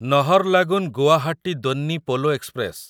Naharlagun Guwahati Donyi Polo express